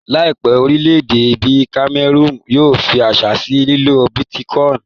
Láìpẹ́, orílẹ̀-èdè bíi kamẹrùnù yóò fí àṣẹ sí lílo bítíkọìnì